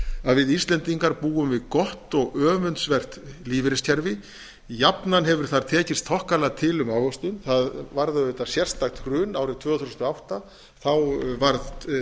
að við íslendingar búum við gott og öfundsvert lífeyriskerfi jafnan hefur það tekist þokkalega til um ávöxtun það varð auðvitað sérstakt hrun árið tvö þúsund og átta þá varð